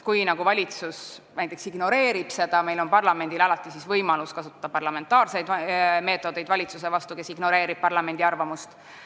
Kui valitsus näiteks ignoreerib seda, siis on parlamendil alati võimalus kasutada parlamentaarseid meetodeid valitsuse vastu, kes ignoreerib parlamendi arvamust.